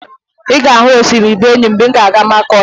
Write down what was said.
Ị ga-ahụ osimiri Benụwe mgbe ị ga-aga Makọdi